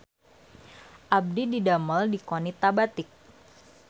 Abdi didamel di Qonita Batik